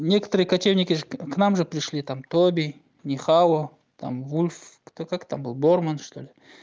некоторые кочевники к нам же пришли там тоби нихао там вульф как-то был борман что ли